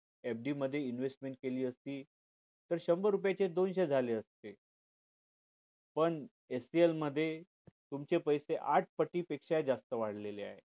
आपण FD मध्ये invest केली असती तर शंभर रुपयाचे दोनशे झाले असते पण HCL मध्ये तुमचे पैसे आठ पटी पेक्षा जास्त वाढलेलं आहेत